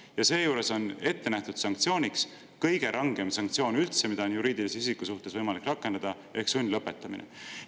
Ja seejuures on ette nähtud sanktsioon, mis on kõige rangem sanktsioon, mida on juriidilise isiku suhtes üldse võimalik rakendada: sundlõpetamine.